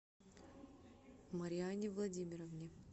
марианне владимировне